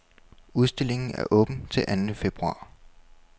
Udstillingen er åben til anden februar.